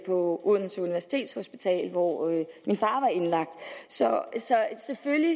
odense universitetshospital hvor min far var indlagt så selvfølgelig